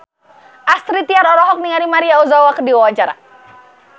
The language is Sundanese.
Astrid Tiar olohok ningali Maria Ozawa keur diwawancara